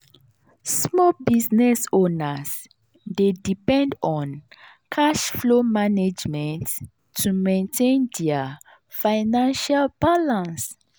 small business owners dey depend on cash flow management to maintain dia financial balance.